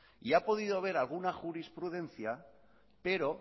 y ha podido haber alguna jurisprudencia pero